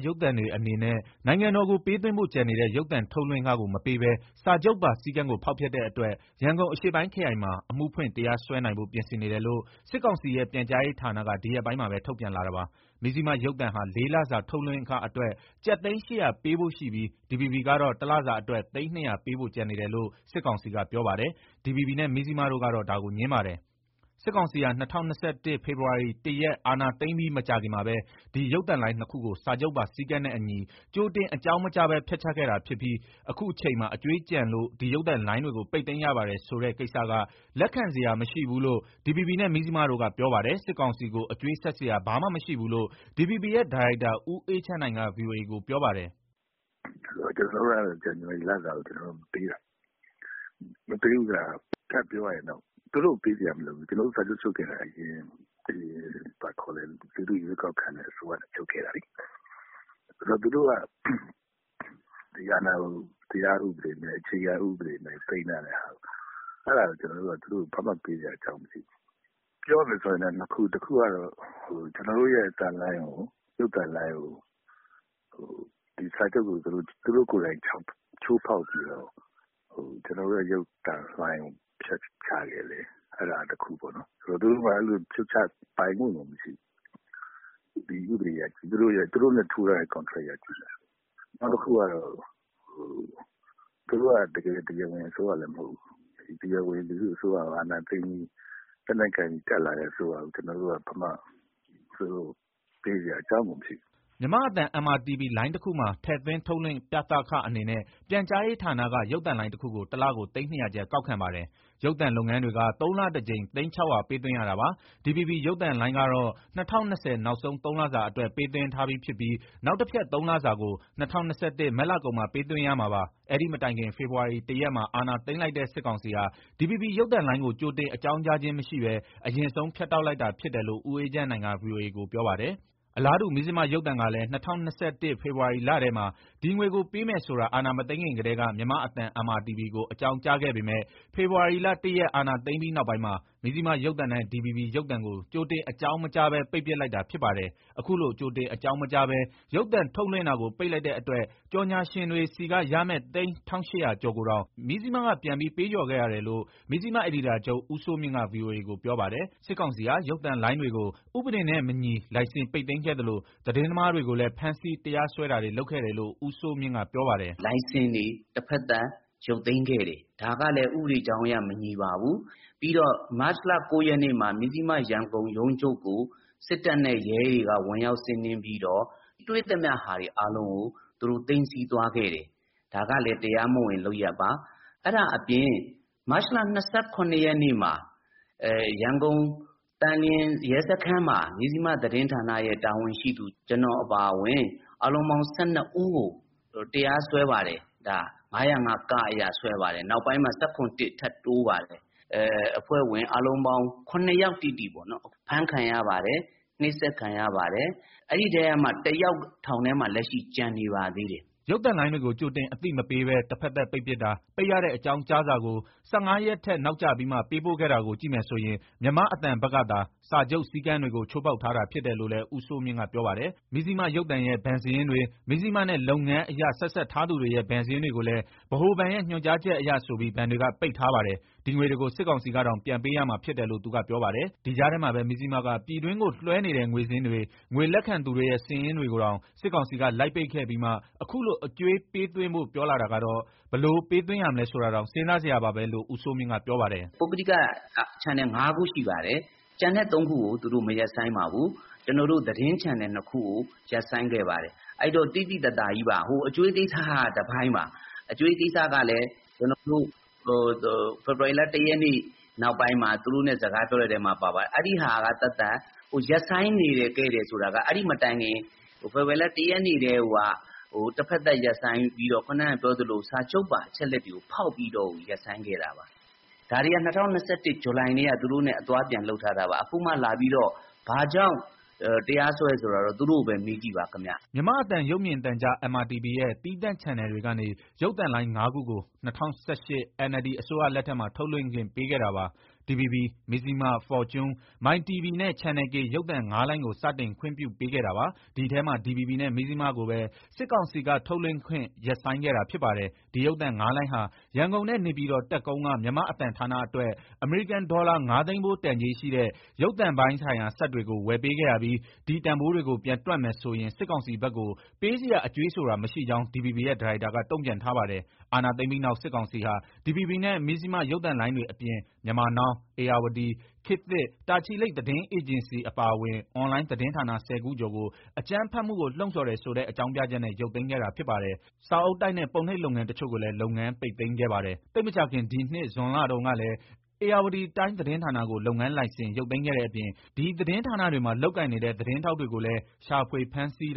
ရုပ်သံတွေ အနေနဲ့ နိုင်ငံတော်ကို ပေးသွင်းဖို့ကျန်နေတဲ့ ရုပ်သံထုတ်လွှင့်ခကို မပေးဘဲ စာချုပ်ပါစည်းကမ်းကို ဖောက်ဖျက်တဲ့အတွက် ရန်ကုန်အရှေ့ပိုင်းခရိုင်မှာ အမှုဖွင့်၊ တရားစွဲနိုင်ဖို့ ပြင်ဆင်နေတယ်လို့ စစ်ကောင်စီရဲ့ ပြန်ကြားရေးဌာနက ဒီရက်ပိုင်းမှာပဲ ထုတ်ပြန်လာတာပါ။ မဇ္စျိမရုပ်သံဟာ ၄ လစာ ထုတ်လွှင့်ခအတွက် ကျပ်သိန်း ၈၀၀ ပေးဖို့ရှိပြီး၊ DVB ကတော့ တလစာ အတွက် သိန်း ၂၀၀ ပေးဖို့ ကျန်နေတယ်လို့ စစ်ကောင်စီက ပြောပါတယ်။ DVB နဲ့ မဇ္စျိမ တို့ကတော့ ဒါကို ငြင်းပါတယ်။ စစ်ကောင်စီဟာ ၂၀၂၁ ဖေဖော်ဝါရီ ၁ ရက် အာဏာသိမ်းပြီး မကြာခင်မှာပဲ ဒီရုပ်သံလိုင်း ၂ ခုကို စာချုပ်ပါ စည်ကမ်းနဲ့အညီ ကြိုတင် အကြောင်းမကြားဘဲ ဖြတ်ချခဲ့တာဖြစ်ပြီး အခုအချိန်မှာ အကြွေးကျန်လို့ ဒီရုပ်သံလိုင်းတွေကို ပိတ်သိမ်းရပါတယ်ဆိုတဲ့ ကိစ္စက လက်ခံစရာမရှိဘူးလို့ DVB နဲ့ မဇ္စျိမတို့က ပြောပါတယ်။ စစ်ကောင်စီကို အကြွေးဆပ်စရာ ဘာမှမရှိဘူးလို့ DVB ရဲ့ ဒါရိုက်တာ ဦးအေးချမ်းနိုင်က ဗွီအိုအေကို ပြောပါတယ်။ " ကျနော်တို့က ဇန်နဝါရီလဟာကို မပေးတာ၊ မပေးဘူးဆိုတာက ထပ်ပြောရရင် သူတို့ကို ပေးစရာမလိုဘူး၊ ကျနော်တို့ စာချုပ်ချုပ်ခဲ့တာ အရင်ရွေးကောက်ခံ အစိုးရနဲ့ ချုပ်ခဲ့တာလေ။ သူတို့က ဒီအာဏာကို တရားဥပဒေမဲ့ သိမ်းထားတဲ့ဟာကို ကျနော်တို့က ဘာမှပေးဖို့ အကြောင်းမရှိဘူး။ ပြောရမယ်ဆို နှစ်ခု၊ တခုကတော့ ကျနော်တို့ရဲ့ အသံလိုင်း၊ ရုပ်သံလိုင်းကို စာချုပ်ကို သူတို့ကိုယ်တိုင် ချိုးဖောက်ပြီးတော့ ဖြတ်ချခဲ့တယ်။ သူတို့မှာ ဖြုတ်ချပိုင်ခွင့်ကိုမရှိဘူး ဒီဥပဒေအရ။ နောက်တခုက သူတို့က တရားဝင်အစိုးရလည်း မဟုတ်ဘူး။ တရားဝင် လူထုအစိုးရကို အာဏာသိမ်းပြီး လက်နက်ကိုင်တက်လာတဲ့ အစိုးရကို ကျနော်တို့ ဘာမှပေးစရာ အကြောင်းကိုမရှိဘူး။" မြန်မာ့အသံ MRTV ရဲ့အခမဲ့ရုပ်သံလိုင်း Free To Air Digital Channel မှာ ထည့်သွင်း၊ ထုတ်လွှင့်ပြသခအနေနဲ့ ပြန်ကြားရေးဌာနက ရုပ်သံလိုင်းတခုကို တလကို သိန်း ၂၀၀ကျပ် ကောက်ခံပါတယ်။ ရုပ်သံလုပ်ငန်းတွေက သုံးလတကြိမ် သိန်း ၆၀၀ ပေးသွင်းရတာပါ။ DVB ရုပ်သံလိုင်းကတော့ ၂၀၂၀ နောက်ဆုံး ၃လ စာအတွက် ပေးသွင်းထားပြီး ဖြစ်ပြီး နောက်တဖြတ် ၃ လစာကို ၂၀၂၁ မတ်လကုန်မှ ပေးသွင်းရမှာပါ။ အဲ့ဒီမတိုင်ခင် ဖေဖော်ဝါရီ ၁ ရက်မှာ အာဏာသိမ်းလိုက်တဲ့ စစ်ကောင်စီဟာ DVB ရုပ်သံလိုင်းကို ကြိုတင်အကြောင်းကြားခြင်းမရှိဘဲ အရင်ဆုံး ဖြတ်တောက်လိုက်တာဖြစ်တယ်လို့ ဦးအေးချမ်းနိုင်က ဗွီအိုအေကို ပြောပါတယ်။ အလားတူ မဇ္စျိမရုပ်သံကလည်း ၂၀၂၁ ဖေဖော်ဝါရီလထဲမှာ ဒီငွေကိုပေးမယ်ဆိုတာ အာဏာမသိမ်းခင်ကတည်းက မြန်မာ့အသံ MRTV ကို အကြောင်းကြားခဲ့ပေမဲ့ ဖေဖော်ဝါရီလ ၁ ရက် အာဏာသိမ်းပြီးနောက်ပိုင်းမှာ မဇ္စျိမရုပ်သံနဲ့ DVB ရုပ်သံကို ကြိုတင်အကြောင်းမကြားဘဲ ပိတ်ပစ်လိုက်တာ ဖြစ်ပါတယ်။ အခုလို ကြိုတင်အကြောင်းမကြားဘဲ ရုပ်သံထုတ်လွှင့်တာကို ပိတ်လိုက်တဲ့အတွက် ကြော်ငြာရှင်တွေဆီက ရမယ့် သိန်း ၁,၈၀၀ ကျော်ကိုတောင် မဇ္စျိမက ပြန်ပြီး ပေးလျော်ခဲ့ရတယ်လို့ မဇ္စျိမ အယ်ဒီတာချုပ် ဦးစိုးမြင့်က ဗွီအိုအေကို ပြောပါတယ်။ စစ်ကောင်စီဟာ ရုပ်သံလိုင်းတွေကို ဥပဒေနဲ့မညီ လိုင်စင်ပိတ်သိမ်းခဲ့သလို၊ သတင်းသမားတွေကိုလည်း ဖမ်ဆီး တရားစွဲတာတွေ လုပ်ခဲ့တယ်လို့ ဦးစိုးမြင့်က ပြောပါတယ်။ " လိုင်စင်တွေ တဖက်သတ် ရုတ်သိမ်းခဲ့တယ်။ ဒါကလည်း ဥပဒေကြောင်းအရ မညီပါဘူး။ ပြီးတော့ မတ်လ၉ရက်မှာ မဇ္စျိမ ရန်ကုန်ရုံးချုပ်ကို စစ်တပ်နဲ့ရဲတွေက ဝင်ရောက်စီးနင်းပြီးတော့ တွေ့သမျှအားလုံးကို သူတို့သိမ်းဆည်းသွားခဲ့တယ်။ ဒါကလည်း တရားမဝင်လုပ်ရပ်ပါ။ အဲဒါအပြင် မတ်လ၂၇ရက်မှာ ရန်ကုန်၊ သန်လျင်ရဲစခန်းမှာ မဇ္စျိမသတင်းဌာနရဲ့ တာဝန်ရှိသူ ကျနော်အပါအဝင် အားလုံးပေါင်း ၁၂ ဦးကို တရားစွဲပါတယ်၊ ၅၀၅ အရ စွဲပါတယ်။ နောက်ပိုင်းမှာ ၁၇ ထပ်တိုးပါတယ်။ အဖွဲ့ဝင် ၇ယောက် တိတိပေါ့ အဖမ်းခံရပါတယ်။ နှိပ်စက်ခံရပါတယ်။ အဲဒီအထဲကမှ တယောက် ထောင်ထဲမှာ လက်ရှိကျန်ပါသေးတယ်။" ရုပ်သံလိုင်းတွေကို ကြိုတင်အသိမပေးဘဲ တဖက်သတ်ပိတ်ပစ်တာ၊ ပိတ်ရတဲ့ အကြောင်းကြားစာကို ၁၅ ရက်ထက် နောက်ကျပြီးမှ ပေးပို့ခဲ့တာကို ကြည့်မယ်ဆိုရင် မြန်မာ့အသံဘက်ကသာ စာချုပ်စည်းကမ်းတွေကို ချိုးဖောက်ထားတာ ဖြစ်တယ်လို့လည်း ဦးစိုးမြင့်က ပြောပါတယ်။ မဇ္စျိမ ရုပ်သံရဲ့ ဘဏ်စာရင်းတွေ၊ မဇ္စျိမနဲ့ လုပ်ငန်းအရ ဆက်စပ်ထားသူတွေရဲ့ ဘဏ်စာရင်းတွေကိုလည်း ဗဟိုဘဏ်ရဲ့ ညွန်ကြားချက်အရဆိုပြီး ဘဏ်တွေက ပိတ်ထားပါတယ်။ ဒီငွေတွေကို စစ်ကောင်စီကတောင် ပြန်ပေးရမှာဖြစ်တယ်လို့ သူကပြောပါတယ်။ ဒီကြားထဲမှာပဲ မဇ္စျိမက ပြည်တွင်းကိုလွှဲနေတဲ့ ငွေစာရင်းတွေ၊ ငွေလက်ခံသူတွေရဲ့ စာရင်းတွေကိုတောင် စစ်ကောင်စီက လိုက်ပိတ်ခဲ့ပြီးမှ အခုလို အကြွေးပေးသွင်းဖို့ ပြောတာကတော့ ဘယ်လို ပေးသွင်းရမလဲ ဆိုတာတောင် စဥ်းစားစရာပါပဲလို့ ဦးစိုးမြင့်က ပြောပါတယ်။ " ပုဂ္ဂလိက channel ငါးခုရှိပါတယ်။ ကျန်တဲ့သုံးခုကို သူတို့မရပ်ဆိုင်းပါဘူး။ ကျနော်တို့ သတင်းချန်နယ်နှစ်ခုကို ရပ်ဆိုင်းခဲ့ပါတယ်။ အဲဒီတော့ သိသိသာသာကြီးပါ။ အကြွေးကိစ္စက တပိုင်းပါ။ အကြွေးကိစ္စကလည်း ဖေဖော်ဝါရီလ ၁ ရက် နောက်ပိုင်းမှာ သူတို့နဲ့ စကားပြောတဲ့အထဲ ပါပါတယ်။ အဲဒါက သက်သက်။ ရပ်ဆိုင်းခဲ့တယ်ဆိုတာ အဲဒီမတိုင်ခင် ဖေဖော်ဝါရီလ ၁ ရက်နေ့ ကတည်းကိုက တဖက်သတ် စာချုပ်ပါ အချက်အလက်တွေကို ဖောက်ပြီးတော့ ရပ်ဆိုင်းခဲ့တာပါ။ ဒါတွေက ၂၀၂၁ ဇူလိုင်ကတည်းက သူတို့နဲ့ အသွားအပြန် လုပ်ထားတာပါ။ အခုမှလာပြီးတော့ ဘာကြောင့် တရားစွဲတယ်ဆိုတာတော့ သူတို့ပဲမေးကြည့်ပါခင်ဗျ။" မြန်မာ့အသံ ရုပ်မြင်သံကြား MRTV ရဲ့ အခမဲ့သီးသန့် Free To Air Digital channel တွေကနေ ရုပ်သံလိုင်း ၅ခုကို ၂၀၁၈ NLD အစိုးရလက်ထက်မှာ ထုတ်လွှင့်ခွင့်ပေးခဲ့တာပါ။ DVB၊ မဇ္စျိမ ၊ Fortune၊ My TV နဲ့ Channel K ရုပ်သံ ၅ လိုင်းကို စတင်ခွင့်ပြုပေးခဲ့တာပါ။ ဒီအထဲမှာ DVB နဲ့ မဇ္ဇျိမကိုပဲ စစ်ကောင်စီက ထုတ်လွင့်ခွင့် ရပ်ဆိုင်းခဲ့တာဖြစ်ပါတယ်။ ဒီရုပ်သံ ၅ လိုင်းဟာ ရန်ကုန်နဲ့ နေပြည်တော် တပ်ကုန်းက မြန်မာ့အသံဌာနအတွက် အမေရိကန်ဒေါ်လာ ၅ သိန်းဖိုး တန်ကြေးရှိတဲ့ ရုပ်သံပိုင်းစက်တွေကို ဝယ်ပေးခဲ့ရပြီး ဒီတန်ဖိုးတွေကို ပြန်တွက်မယ်ဆိုရင် စစ်ကောင်စီဘက်ကို ပေးစရာ အကြွေးဆိုတာမရှိကြောင်း DVB ရဲ့ ဒါရိုက်တာက တုံ့ပြန်ထားပါတယ်။ အာဏာသိမ်းပြီးနောက် စစ်ကောင်စီဟာ DVB နဲ့ မဇ္ဇျိမ ရုပ်သံလိုင်းတွေ အပြင် Myanmar Now, Irrawaddy, ခေတ်သစ်၊ တာချီလိတ် သတင်းအေဂျင်စီ အပါအဝင် အွန်လိုင်း သတင်းဌာန ၁၀ ခုကျော်ကို အကြမ်းဖက်မှုကို လှုံဆော်တယ်ဆိုတဲ့ အကြောင်းပြချက်နဲ့ ရုတ်သိမ်းခဲ့တာ ဖြစ်ပါတယ်။ စာအုပ်တိုက်နဲ့ ပုံနှိပ်လုပ်ငန်း တချို့ကိုလည်း လုပ်ငန်းပိတ်သိမ်းခဲ့ပါတယ်။ သိပ်မကြာခင် ဒီနှစ် ဇွန်လတုန်းကလည်း Ayeyarwaddy Times သတင်းဌာနကို လုပ်ငန်းလိုင်စင် ရုတ်သိမ်းခဲ့တဲ့အပြင် ဒီသတင်းဌာနတွေမှာ လုပ်ကိုင်နေတဲ့ သတင်းထောက်တွေကိုလည်း ရှာဖွေ၊ ဖမ်းဆီး